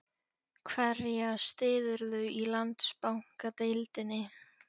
Hverja styðurðu í Landsbankadeildinni?